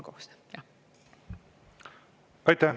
Aitäh!